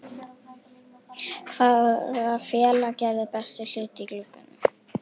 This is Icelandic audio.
Hvaða félag gerði bestu hlutina í glugganum?